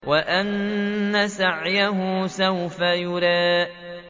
وَأَنَّ سَعْيَهُ سَوْفَ يُرَىٰ